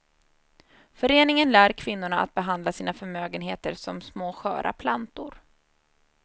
Föreningen lär kvinnorna att behandla sina förmögenheter som små sköra plantor.